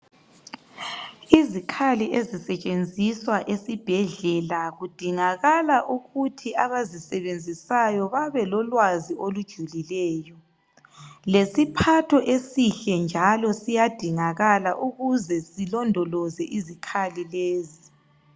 Izikhali ezisetshenziswa esibhedlela kudingala ukuthi abazisebenzisayo babe lolwazi olujulileyo. Lesiphatho esihle njalo siyadingakala ukuze silondoloze izikhali lezi.